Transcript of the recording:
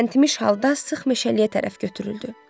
Təntimiş halda sıx meşəliyə tərəf götürüldü.